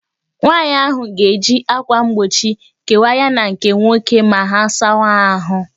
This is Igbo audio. Nwaanyị ahụ ga-eji akwa mgbochi kewaa ya na nke nwoke ma ha sawa ahụ